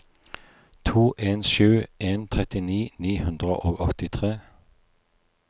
to en sju en trettini ni hundre og åttitre